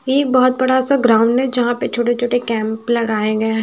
ये बहुत बड़ा सा ग्राउंड है जहां पे छोटे-छोटे कैंप लगाए गए हैं।